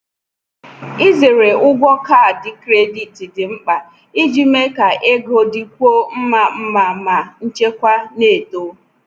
Izere ụgwọ kaadị kredit dị mkpa iji mee ka ego dịkwuo mma mma ma nchekwa na-eto.